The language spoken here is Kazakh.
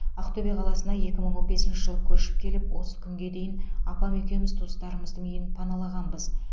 ақтөбе қаласына екі мың он бесінші жылы көшіп келіп осы күнге дейін апам екеуміз туыстарымыздың үйін паналағанбыз